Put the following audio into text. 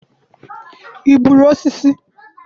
i gbuturu osisi?